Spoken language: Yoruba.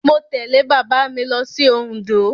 Mo tẹ̀lé bàbá mi lọ sí Òǹdó.